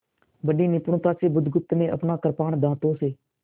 बड़ी निपुणता से बुधगुप्त ने अपना कृपाण दाँतों से